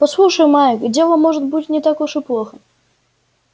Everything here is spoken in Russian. послушай майк дело может быть не так уж и плохо